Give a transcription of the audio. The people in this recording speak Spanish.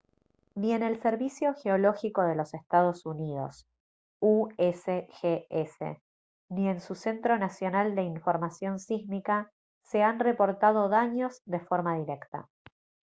ni en el servicio geológico de los estados unidos usgs ni en su centro nacional de información sísmica se han reportado daños de forma directa